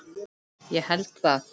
Ég held það.